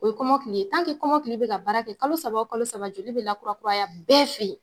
O ye kɔmɔkili ye, kɔmɔkili be ka baara kɛ kalo saba o kalo saba joli be lakurakuraya bɛɛ fe ye.